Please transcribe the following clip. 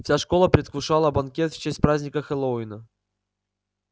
вся школа предвкушала банкет в честь праздника хэллоуина